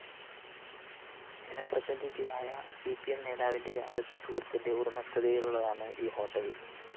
ജനപ്രതിനിധിയായ C P M നേതാവിന്റെ അടുത്ത സുഹൃത്തിന്റെ ഉടമസ്ഥതയിലുള്ളതാണ് ഈ ഹോട്ടല്‍